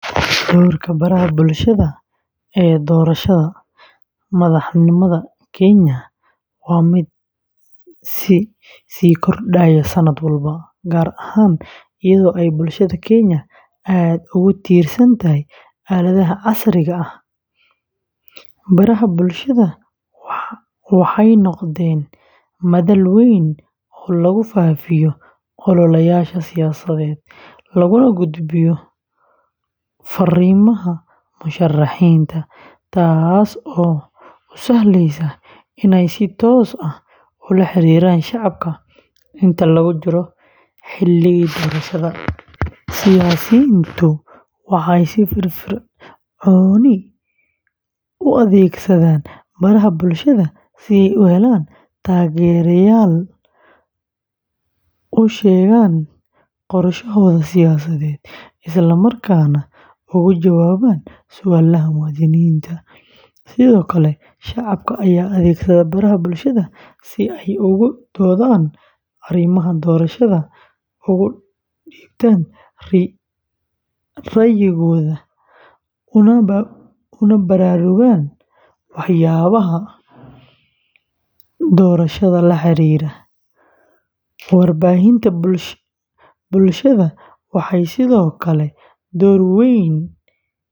Doorka baraha bulshada ee doorashada madaxtinimada Kenya waa mid sii kordhaya sanad walba, gaar ahaan iyadoo ay bulshada Kenya aad ugu tiirsan tahay aaladaha casriga ah. Baraha bulshada waxay noqdeen madal weyn oo lagu faafiyo ololayaasha siyaasadeed, laguna gudbiyo fariimaha musharaxiinta, taasoo u sahleysa inay si toos ah ula xiriiraan shacabka. Inta lagu jiro xilligii doorashada, siyaasiyiintu waxay si firfircoon u adeegsadaan baraha bulshada si ay u helaan taageerayaal, u sheegaan qorshahooda siyaasadeed, isla markaana uga jawaabaan su'aalaha muwaadiniinta. Sidoo kale, shacabka ayaa adeegsada baraha bulshada si ay uga doodaan arrimaha doorashada, uga dhiibtaan ra’yigooda, una baraarugaan waxyaabaha doorashada la xiriira. Warbaahinta bulshada waxay sidoo kale door weyn.